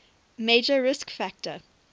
major risk factor